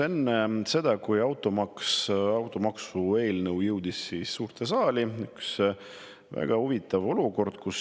Enne seda, kui automaksu eelnõu suurde saali jõudis, juhtus üks väga huvitav olukord.